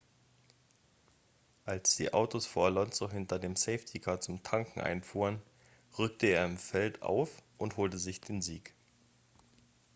als die autos vor alonso hinter dem safety-car zum tanken einfuhren rückte er im feld auf und holte sich den sieg